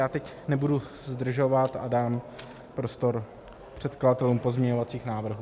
Já teď nebudu zdržovat a dám prostor předkladatelům pozměňovacích návrhů.